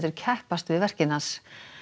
keppast um verkin hans